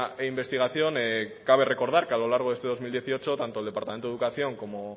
e investigación cabe recordar que a lo largo de este dos mil dieciocho tanto el departamento de educación